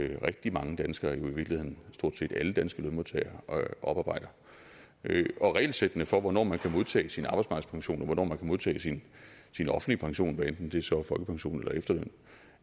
rigtig mange danske lønmodtagere jo i virkeligheden stort set alle danske lønmodtagere oparbejder og regelsættene for hvornår man kan modtage sin arbejdsmarkedspension og hvornår man kan modtage sin offentlige pension hvad enten det så er folkepension eller efterløn